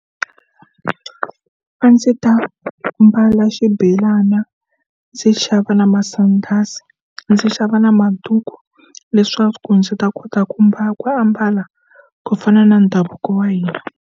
A ndzi ta mbala xibelana ndzi xava na masandasi ndzi xava na maduku leswaku ndzi ta kota ku mbala ku ambala ku fana na ndhavuko wa hina.